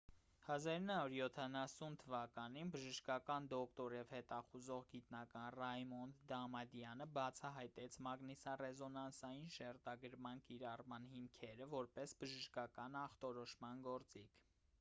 1970 թվականին բժշկական դոկտոր և հետազոտող գիտնական ռայմոնդ դամադյանը բացահայտեց մագնիսառեզոնանսային շերտագրման կիրառման հիմքերը որպես բժշկական ախտորոշման գործիք